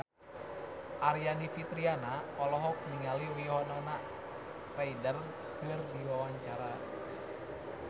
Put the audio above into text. Aryani Fitriana olohok ningali Winona Ryder keur diwawancara